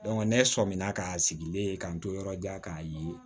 ne sɔmin na k'a sigilen k'an to yɔrɔ di yan k'a ye